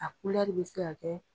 A bɛ se ka kɛ